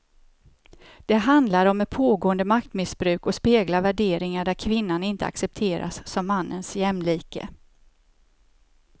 Det handlar om ett pågående maktmissbruk och speglar värderingar där kvinnan inte accepteras som mannens jämlike.